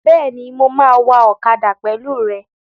Bẹ́ẹ̀ni, mo máa wa ọ̀kadà pẹ̀lú rẹ